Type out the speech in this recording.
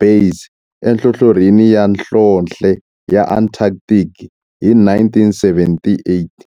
Base enhlohlorhini ya nhlonhle ya Antarctic hi 1978.